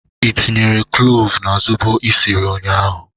Ị tinyere klovu na zobo esiri ụnyaahụ?